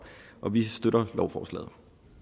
om vi støtter lovforslaget